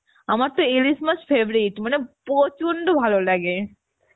আমারতো ইলিশ মাছ favourite মানে প্রচন্ড ভালো লাগে